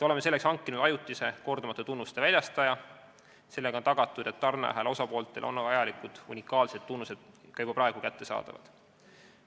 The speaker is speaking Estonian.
Oleme leidnud ajutise kordumatute tunnuste väljastaja, sellega on tagatud, et tarneahela osapooltele on vajalikud unikaalsed tunnused juba praegu kättesaadavad.